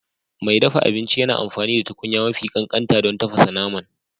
Mai dafa abinci yana amfani da tukunya mafi ƙanƙanta don tafasa naman